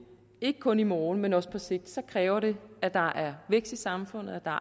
ikke kun i morgen men også på sigt kræver det at der er vækst i samfundet og at der